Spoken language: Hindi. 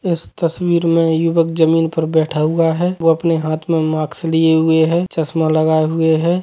इस तस्वीर में युवक जमीन पर बैठा हुआ है वो अपने हाथ में मास्क लिए हुए है चश्मा लगाए हुए हैं।